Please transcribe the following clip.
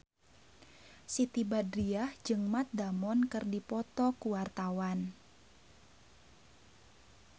Siti Badriah jeung Matt Damon keur dipoto ku wartawan